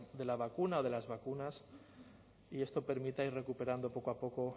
de la vacuna o de las vacunas y eso permita ir recuperando poco a poco